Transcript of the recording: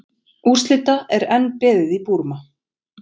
Úrslita enn beðið í Búrma